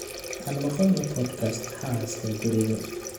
aan maqalno podcast xaaska guriga